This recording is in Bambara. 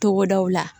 Togodaw la